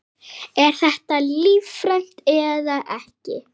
Er þetta lífrænt eða ekki?